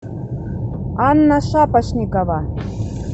анна шапошникова